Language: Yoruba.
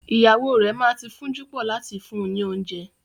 Ìyàwó rẹ ma ti fún'júpọ̀ láti fún ni oúnjẹ.